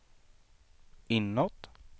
inåt